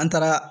An taara